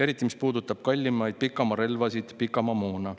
Eriti, mis puudutab kallimaid pikamaarelvasid, pikamaamoona.